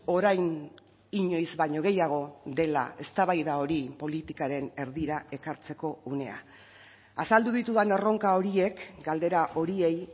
orain inoiz baino gehiago dela eztabaida hori politikaren erdira ekartzeko unea azaldu ditudan erronka horiek galdera horiei